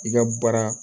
I ka baara